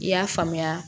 I y'a faamuya